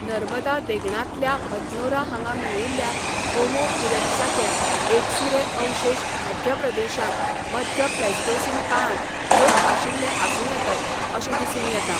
नर्मदा देगणांतल्या हथनोरा हांगा मेळिल्ल्या होमो इरेक्टसाचे एकसुरे अवशेश मध्यप्रदेशांत मध्य प्लेस्टोसीन काळांत लोक आशिल्ले आसूं येतात अशें दिसून येता.